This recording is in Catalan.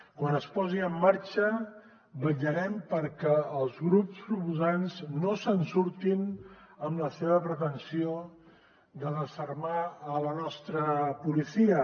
quan es posi en marxa vetllarem perquè els grups proposants no se’n surtin amb la seva pretensió de desarmar la nostra policia